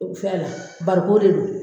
O fɛ la bariko de don